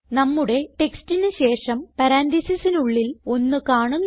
നമ്മുടെ ടെക്സ്റ്റിന് ശേഷം പരാൻതീസിസിനുള്ളിൽ 1 കാണുന്നു